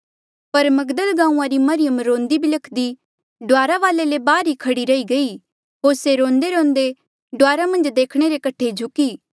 पर मगदल गांऊँआं री मरियम रोंदी बिलख्दी डुआरा वाले ले बाहर ई खड़ी रही गई होर से रोंदेरोंदे डुआरा मन्झ देखणे रे कठे झुकी